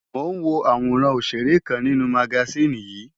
Mò ń wo àwòrán ọ̀ṣèré kan nínú magasíìnì yìí.